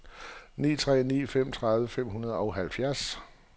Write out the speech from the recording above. ni tre ni fem tredive fem hundrede og halvfjerds